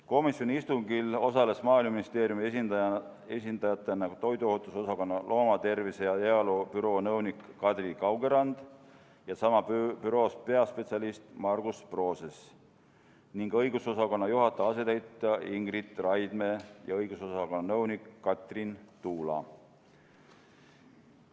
Komisjoni istungil osalesid Maaeluministeeriumi esindajatena ka toiduohutuse osakonna loomatervise ja -heaolu büroo nõunik Kadri Kaugerand ja sama büroos peaspetsialist Margus Proses, õigusosakonna juhataja asetäitja Ingrid Raidme ja õigusosakonna nõunik Katrin Tuula.